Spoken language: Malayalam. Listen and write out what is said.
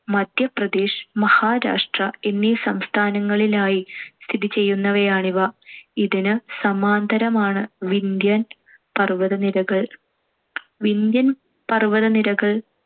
മദ്ധ്യപ്രദേശ്, മഹാരാഷ്ട്ര എന്നീ സംസ്ഥാനങ്ങളിലായി സ്ഥിതിചെയ്യുന്നവയാണിവ. ഇതിനു സമാന്തരമാണ്‌ വിന്ധ്യൻ പർ‌വ്വതനിരകൾ. വിന്ധ്യൻ പർ‌വതനിരകൾ